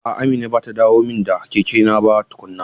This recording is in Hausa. A'a Amina bata dawo min da kekena ba tukuna.